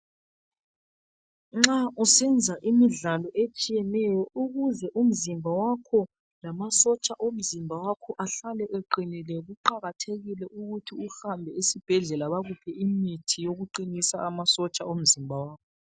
Nxa usenza imidlalo etshiyeneyo ukuze umzimba wakho lamasotsha omzimba wakho ahlale eqinile yikuthi kuqakathekile ukuthi uhambe esibhedlela bakuphe imithi yokuqinisa amasotsha omzimba wakho